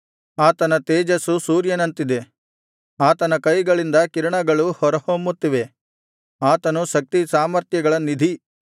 ಆತನ ತೇಜಸ್ಸು ಸೂರ್ಯನಂತಿದೆ ಆತನ ಕೈಗಳಿಂದ ಕಿರಣಗಳು ಹೊರಹೊಮ್ಮುತ್ತಿವೆ ಆತನು ಶಕ್ತಿ ಸಾಮರ್ಥ್ಯಗಳ ನಿಧಿ